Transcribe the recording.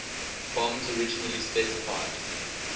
bombs originally specified